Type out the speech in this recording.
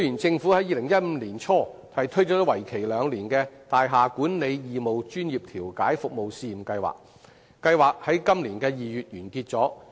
政府於2015年年初推出為期兩年的大廈管理義務專業調解服務試驗計劃，並於今年2月完結。